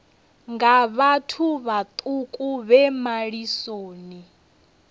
nga vhathu vhaṱuku vhe malisoni